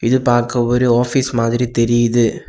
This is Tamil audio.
இது பாக்க ஒரு ஆபீஸ் மாதிரி தெரியுது.